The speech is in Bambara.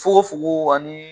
Fukofuko ani